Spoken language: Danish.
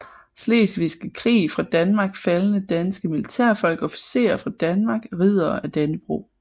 Slesvigske Krig fra Danmark Faldne danske militærfolk Officerer fra Danmark Riddere af Dannebrog